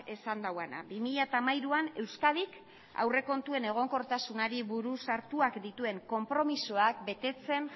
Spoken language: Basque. esan duena bi mila hamairuan euskadik aurrekontuen egonkortasunari buruz hartuak dituen konpromezuak betetzen